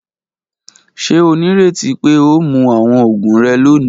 Ṣe o nireti pe o mu awọn oogun rẹ loni?.